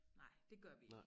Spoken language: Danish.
Nej det gør vi ik